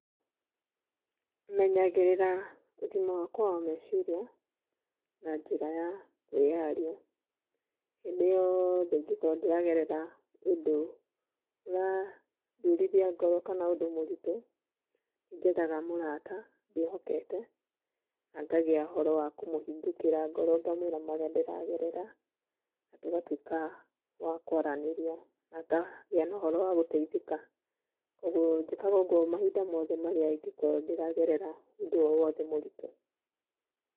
Menyagĩrĩra ũgima wakwa wa meciria na njĩra ya kwĩyaria. Hĩndĩ yothe ingĩkorũo ndĩragerera ũndũ ũrandurithia ngoro kana ũndũ mũritũ, njethaga mũrata ndĩĩhokete, na ngagĩa ũhoro wa kũmũhingũkĩra ngoro ngamwĩra marĩa ndĩragerera na tũgatũĩka wa kwaranĩria na ngagĩa na ũhoro wa gũteithĩka. Kwoguo njĩkaga ũguo mahinda mothe marĩa ingĩkorũo ndĩragerera ũndũ o wothe mũritũ.